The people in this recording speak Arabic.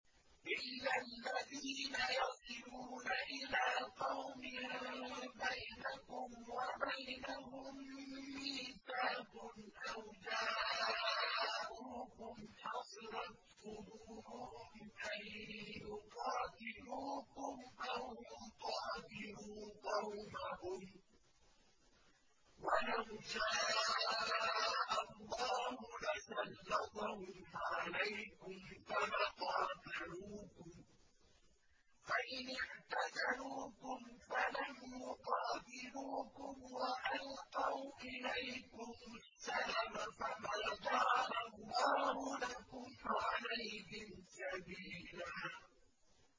إِلَّا الَّذِينَ يَصِلُونَ إِلَىٰ قَوْمٍ بَيْنَكُمْ وَبَيْنَهُم مِّيثَاقٌ أَوْ جَاءُوكُمْ حَصِرَتْ صُدُورُهُمْ أَن يُقَاتِلُوكُمْ أَوْ يُقَاتِلُوا قَوْمَهُمْ ۚ وَلَوْ شَاءَ اللَّهُ لَسَلَّطَهُمْ عَلَيْكُمْ فَلَقَاتَلُوكُمْ ۚ فَإِنِ اعْتَزَلُوكُمْ فَلَمْ يُقَاتِلُوكُمْ وَأَلْقَوْا إِلَيْكُمُ السَّلَمَ فَمَا جَعَلَ اللَّهُ لَكُمْ عَلَيْهِمْ سَبِيلًا